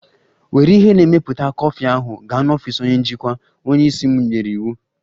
Were ihe na-emepụta kọfị ahụ gaa n'ọfịs onye njikwa! Onye isi m nyere iwu.